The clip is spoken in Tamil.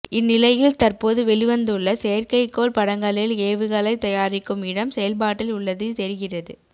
இந்நிலையில் தற்போது வெளிவந்துள்ள செயற்கைக்கோள் படங்களில் ஏவுகளை தயாரிக்கும் இடம் செயல்பாட்டில் உள்ளது தெரிகிறது